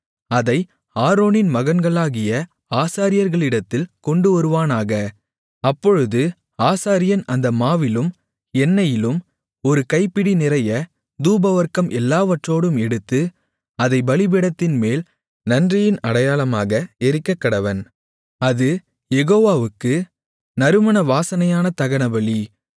அதை ஆரோனின் மகன்களாகிய ஆசாரியர்களிடத்தில் கொண்டுவருவானாக அப்பொழுது ஆசாரியன் அந்த மாவிலும் எண்ணெயிலும் ஒரு கைப்பிடி நிறைய தூபவர்க்கம் எல்லாவற்றோடும் எடுத்து அதைப் பலிபீடத்தின்மேல் நன்றியின் அடையாளமாக எரிக்கக்கடவன் அது யெகோவாவுக்கு நறுமண வாசனையான தகனபலி